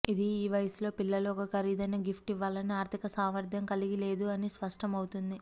ఇది ఈ వయస్సులో పిల్లలు ఒక ఖరీదైన గిఫ్ట్ ఇవ్వాలని ఆర్థిక సామర్థ్యం కలిగి లేదు అని స్పష్టం అవుతుంది